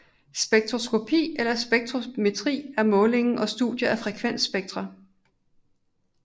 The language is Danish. Spektroskopi eller spektrometri er måling og studie af frekvensspektra